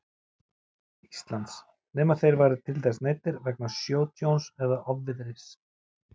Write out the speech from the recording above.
Íslands, nema þeir væru til þess neyddir vegna sjótjóns eða ofviðris.